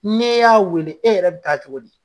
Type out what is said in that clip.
N'i y'a weele, e yɛrɛ bi taa cogo di ?